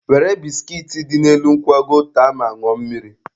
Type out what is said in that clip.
Were biskit dị n'elu nkwago taa ma ṅụọ mmiri.